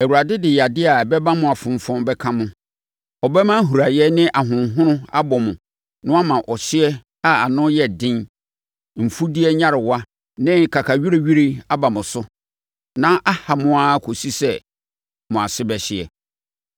Awurade de yadeɛ a ɛbɛma mo afonfɔn bɛka mo. Ɔbɛma huraeɛ ne ahonhono abɔ mo na wama ɔhyeɛ a ano yɛ den, mfudeɛ nyarewa ne kakawirewire aba mo so na aha mo ara kɔsi sɛ mo ase bɛhye.